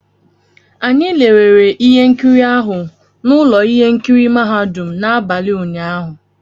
Anyị lerere ihe nkiri ahụ na ụlọ ihe nkiri mahadum n'abalị ụnyaahụ